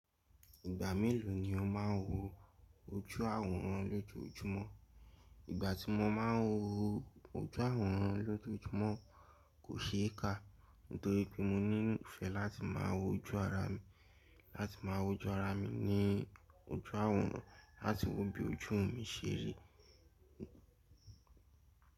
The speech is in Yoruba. Ìgbà mélòó ni o máa ń wo ojú àwòrán lójoojúmọ́? Ìgbà tí mo máa ń wo ojú àwòrán lójoojúmọ́ kò ṣe é kà. Nítorí pé mo ní ìfẹ́ láti máa wo ojú ara mi, láti máa wo ojú ara mi ní ojú àwòrán, láti wo bí ojú mi ṣe ri.